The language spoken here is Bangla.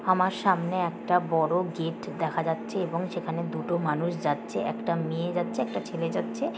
আমার সামনে একটা বড় গেট দেখা যাচ্ছে এবং সেখানে দুটো মানুষ যাচ্ছে। একটা মেয়ে যাচ্ছে একটা ছেলে যাচ্ছে।